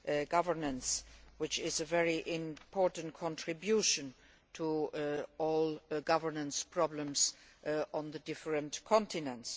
governance, which is a very important contribution to all the governance problems on the different continents.